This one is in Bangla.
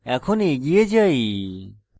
এখন এগিয়ে যাই